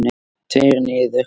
Tveir niður.